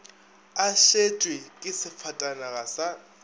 a šetšwe ke sefatanaga sa